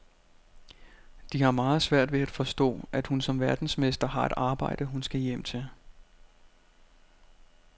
De har meget svært ved at forstå, at hun som verdensmester har et arbejde, hun skal hjem til.